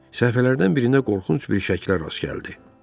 Səhifələrdən birində qorxunc bir şəklə rast gəldi.